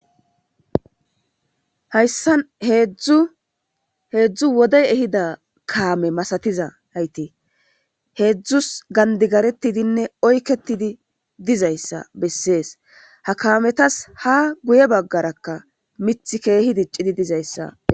Hayssan heedzdzu heedzdzu wodey ehida kaame masatiza ayti heedzdzus gandigaretidinne oykketidi dizayssa bessees ha kaametas ha guye baggarakka mith keehi diccidi dizayssa.